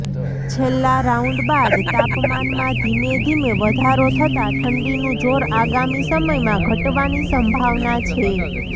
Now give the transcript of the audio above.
છેલ્લા રાઉન્ડ બાદ તાપમાનમાં ધીમેધીમે વધારો થતાં ઠંડીનું જોર આગામી સમયમાં ઘટવાની સંભાવના છે